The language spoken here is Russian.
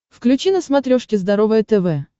включи на смотрешке здоровое тв